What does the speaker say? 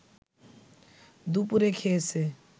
দুপুরে খেয়েছে